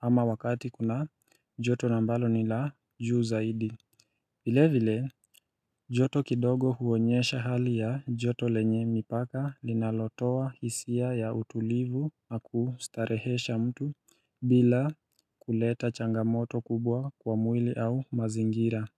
ama wakati kuna joto ambalo ni la juu zaidi vile vile joto kidogo huonyesha hali ya joto lenye mipaka linalotoa hisia ya utulivu na kustarehesha mtu bila kuleta changamoto kubwa kwa mwili au mazingira.